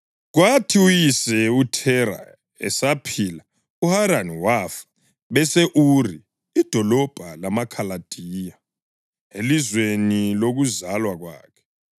Kwathi uyise uThera esaphila uHarani wafa bese-Uri idolobho lamaKhaladiya, elizweni lokuzalwa kwakhe.